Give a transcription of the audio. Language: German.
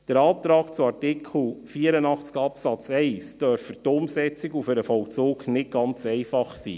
Der Antrag zu Artikel 84 Absatz 1 dürfte für die Umsetzung und den Vollzug nicht ganz einfach sein.